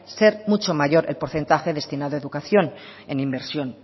mucho mayor el porcentaje destinado a educación en inversión